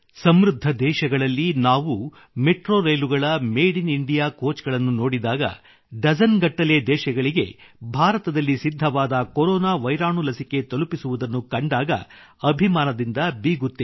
ಸಮೃದ್ಧ ದೇಶಗಳಲ್ಲಿ ನಾವು ಮೆಟ್ರೋ ರೈಲುಗಳ ಕೋಚ್ ಗಳನ್ನು ನೋಡಿದಾಗ ಡಜನ್ ಗಟ್ಟಲೆ ದೇಶಗಳಿಗೆ ಭಾರತದಲ್ಲಿ ಸಿದ್ಧವಾದ ಕೊರೊನಾ ವೈರಾಣು ಲಸಿಕೆ ತಲುಪಿಸುವುದನ್ನು ಕಂಡಾಗ ಸ್ವಾಭಿಮಾನದಿಂದ ಬೀಗುತ್ತೇವೆ